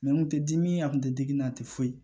n kun tɛ dimi a kun tɛ digi n na a tɛ foyi